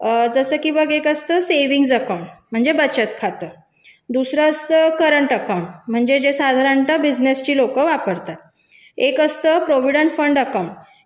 जसं की मग एक असतं बचत खात दुसरा असतं चालू खाते जे व्यवसायिक लोक वापरतात एक असतं भविष्य निधी खाते